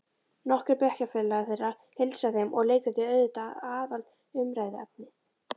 Nokkrir bekkjarfélagar þeirra heilsa þeim og leikritið er auðvitað aðalumræðuefnið.